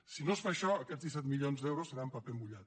si no es fa això aquests disset milions d’euros seran paper mullat